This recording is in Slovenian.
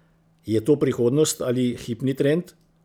Je to prihodnost ali hipni trend?